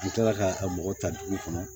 An tora ka mɔgɔ ta dugu kɔnɔ